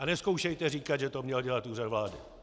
A nezkoušejte říkat, že to měl dělat Úřad vlády!